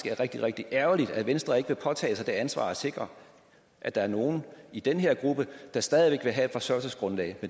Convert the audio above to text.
er rigtig rigtig ærgerligt at venstre ikke vil påtage sig det ansvar at sikre at der er nogen i den her gruppe der stadig væk vil have et forsørgelsesgrundlag